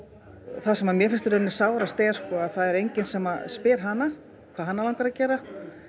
það sem að mér finnst í rauninni sárast er að það er enginn sem spyr hana hvað hana langar að gera